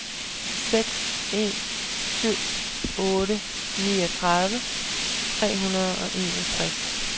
seks en syv otte niogtredive tre hundrede og enogtres